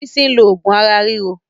Bolaji ló oògùn ara ríro